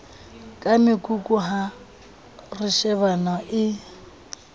ka mekoko ha reshebana e